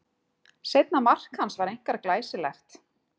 Seinna mark hans var einkar glæsilegt.